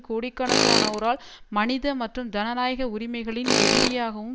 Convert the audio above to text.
கோடிக்கணக்கானோரால் மனித மற்றும் ஜனநாயக உரிமைகளின் எதிரியாகவும்